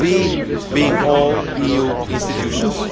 We' being all EU institutions.